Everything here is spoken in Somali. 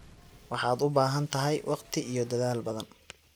Waxaad u baahan tahay waqti iyo dadaal badan.